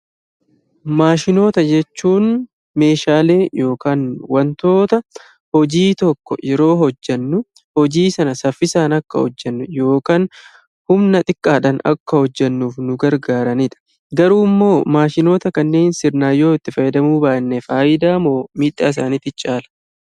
Maashinoota jechuun Meeshaalee yookiin wantoota hojii tokko yeroo hojjennutti hojii sana saffisaan akka hojjennu yookaan humna xiqqaadhaan akka hojjennu nu gargaaranidha. Garuu immoo maashinoota kanneen sirnaan itti fayyadamuu yoo baanne fayidaa moo miidhaa isaaniitu caalaa?